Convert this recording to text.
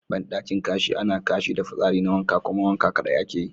Bandaki Kashi ana Kashi da fitsari na wanka kuma wanka kadai ake yi.